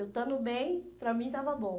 Eu estando bem, para mim estava bom.